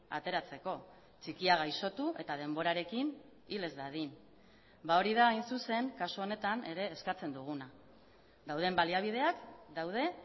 ateratzeko txikia gaixotu eta denborarekin hil ez dadin hori da hain zuzen kasu honetan ere eskatzen duguna dauden baliabideak daude